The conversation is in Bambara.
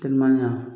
Teliman